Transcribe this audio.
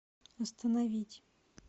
остановить